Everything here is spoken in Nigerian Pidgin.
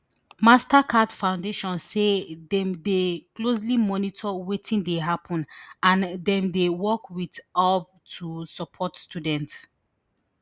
mastercard foundation say dem dey closely monitor wetin dey happun and dem dey work wit aub to support students